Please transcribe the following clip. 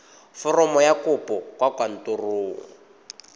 foromo ya kopo kwa kantorong